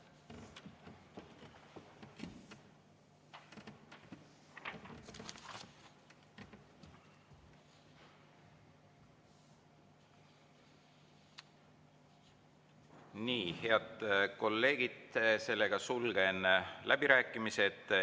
Nii, head kolleegid, sulgen läbirääkimised.